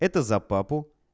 это за папу